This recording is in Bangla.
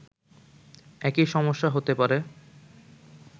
একই সমস্যা হতে পারে